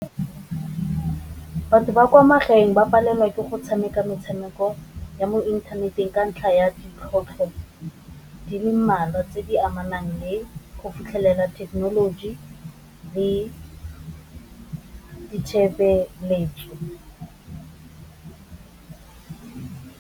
Batho ba kwa magaeng ba palelwa ke go tshameka metshameko ya mo inthaneteng ka ntlha ya di le mmalwa tse di amanang le go fitlhelela thekenoloji le ditshebeletso.